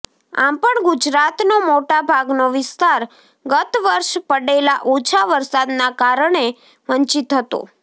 આમ પણ ગુજરાતનો મોટાભાગનો વિસ્તાર ગત્ત વર્ષે પડેલા ઓછા વરસાદના કારણે વંચિત હતો